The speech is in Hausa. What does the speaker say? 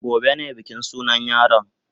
Gobe ne bikin sunan yaron.